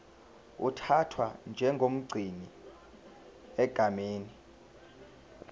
uthathwa njengomgcini egameni